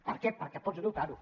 per què perquè pots dotar los